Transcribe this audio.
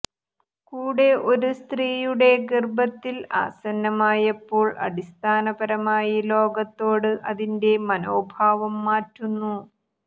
കൂടെ ഒരു സ്ത്രീയുടെ ഗർഭത്തിൽ ആസന്നമായപ്പോൾ അടിസ്ഥാനപരമായി ലോകത്തോട് അതിന്റെ മനോഭാവം മാറ്റുന്നു